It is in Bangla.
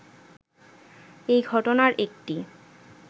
এই ঘটনার একটি